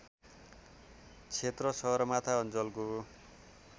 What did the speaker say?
क्षेत्र सगरमाथा अञ्चलको